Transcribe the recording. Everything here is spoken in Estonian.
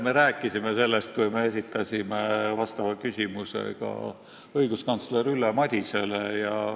Me rääkisime sellest, kui me esitasime vastava küsimuse õiguskantsler Ülle Madisele.